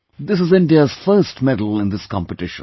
This is India's first medal in this competition